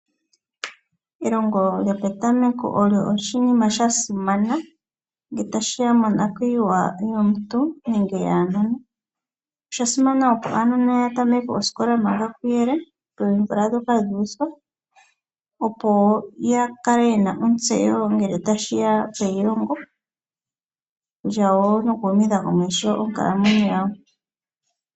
Elongo lyopetameko olyo oshinima sha simana ngele tashi ya monakuyiwa yomuntu nenge yaanona. Osha simana opo aanona ya tameke osikola manga kuyele, poomvula ndhoka dhuuthwa opo yakale yena ontsewo ngele tashi ya peilongo lyawo noku humitha komeho onkalamwenyo yawo.